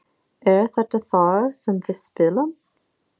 Er þetta þar sem við spilum?